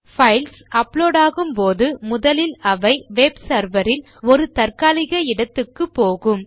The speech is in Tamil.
பைல்ஸ் அப்லோட் ஆகும் போது முதலில் அவை வெப் செர்வர் இல் ஒரு தற்காலிக இடத்துக்குத்தான் போகும்